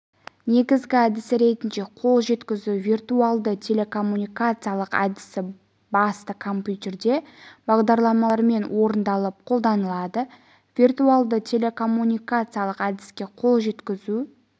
негізгі әдісі ретінде қол жеткізу виртуалды телекоммуникациялық әдісі басты компьютерде бағдарламамен орындалып қолданылады виртуалды телекоммуникациялық әдіске қол жеткізу